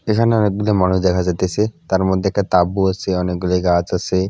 এখানে অনেকগুলি মানুষ দেখা যাইতেছে তার মধ্যে একটা তাবু আছে অনেকগুলি গাছ আছে।